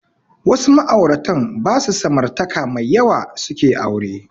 Wasu ma'auratan ba su samartaka mai yawa suke aure